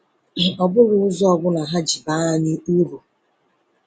Ọ bụrụ ụzọ ọ bụla ha ji baa anyị uru?